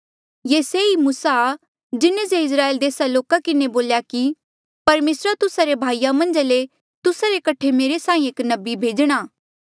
ये से ई मूसा आ जिन्हें जे इस्राएल देसा रे लोका किन्हें बोल्या कि परमेसरा तुस्सा रे भाईया मन्झा ले तुस्सा रे कठे मेरे साहीं एक नबी भेजणा